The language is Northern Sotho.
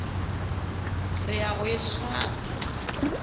re ya go e swara